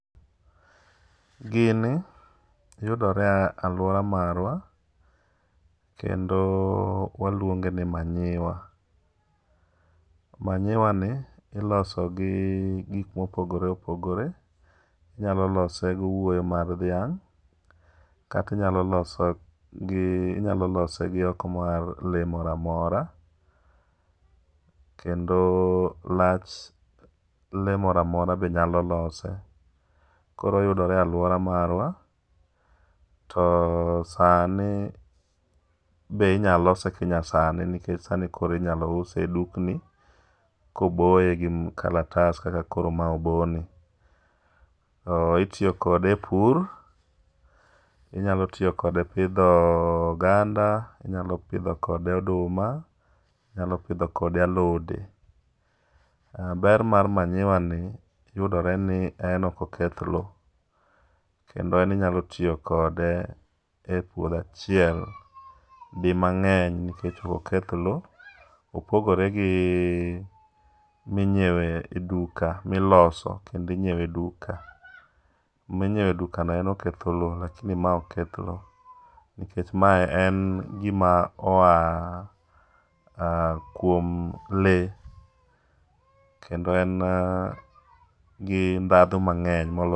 Gini yudore e alwora marwa, kendo waluonge ni manyiwa. Manyiwa ni iloso gi gik mopogore opogore, inyalo lose gi owuoyo mar dhiang'. Kata inyalo loso gi inyalo lose gi oko mar le mora mora, kendo lach le mora mora be nyalo lose. Koro oyudore e alwora marwa, to sani be inya lose kinyasani nikech sani be inyalo use e dukni. Koboye gi kalatas kaka koro ma obo ni. Itiyo kode e pur, inyalo tiyo kode pidho oganda, inyalo pidho kode oduma, inyalo pidho kode alote. Ber mar manyiwa ni, yudore ni en okoketh lo, kendo en inyalo tiyo kode e pur achiel di mang'eny. Nikech okoketh lo, opogore gi minyiewe e duka, miloso kendi nyiewe duka. Minyiewe duka no en oketho lo, lakini ma ok keth lo, nikech mae en gima oa kuom le kendo en gi ndadho mang'eny molo.